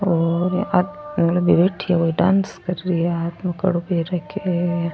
और बगल में बैठे हुए डांस कर रही है हाथ में कड़ो पहन रखयो है।